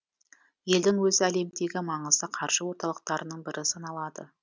елдің өзі әлемдегі маңызды қаржы орталықтарының бірі саналады